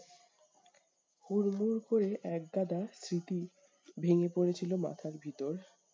হুরমুর করে এক গাদা স্মৃতি ভেঙ্গে পড়েছিল মাথার ভিতর।